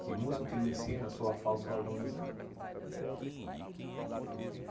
Que músico que não ensina soa a falso harmonizar.